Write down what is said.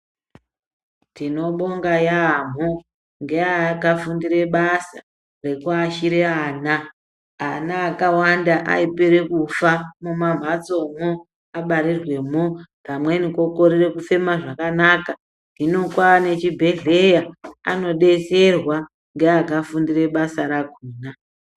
Tinobonga yaamho ngeakafundire basa rekuashire ana. Ana akawanda aipere kufa kumamhatsomwo abarirwemwo. Pamweni kokorere kufema zvakanaka. Hino kwane chibhedhleya, anodetserwa ngeakafundire basa rakona.